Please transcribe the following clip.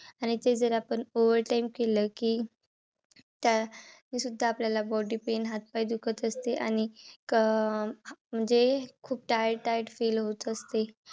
आणि ते जर आपण over time केल कि त्या तरीसुद्धा आपल्याला body pain हातपाय दुखत असतील आणि कं म्हणजे खूप tired tired Feel होत असते.